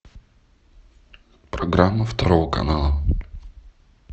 программа второго канала